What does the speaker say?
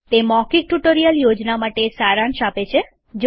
તે મૌખિક tutorial project માટે સારાંશ આપે છે